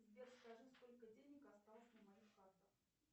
сбер скажи сколько денег осталось на моих картах